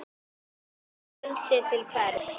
Frelsi til hvers?